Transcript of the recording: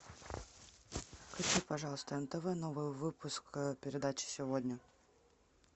включи пожалуйста нтв новый выпуск передачи сегодня